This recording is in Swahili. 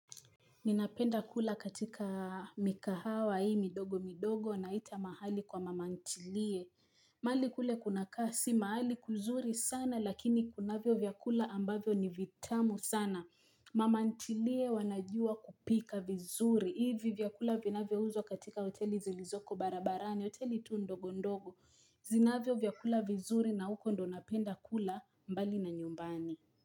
Ninapenda kula katika mikahawa hii midogo midogo wanaita mahali kwa mama ntilie. Mahali kule kuna kasi, mahali kuzuri sana lakini kunavyo vyakula ambavyo ni vitamu sana. Mama ntilie wanajua kupika vizuri. Hivi vyakula vinavyouzwa katika hoteli zilizoko barabarani, hoteli tu ndogo ndogo. Zinavyo vyakula vizuri na huko ndo napenda kula mbali na nyumbani.